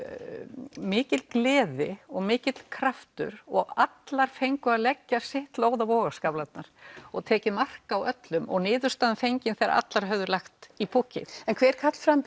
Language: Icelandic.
mikil gleði og mikill kraftur og allar fengu að leggja sitt lóð á vogarskálarnar og tekið mark á öllum og niðurstaða fengin þegar allar höfðu lagt í púkkið en hver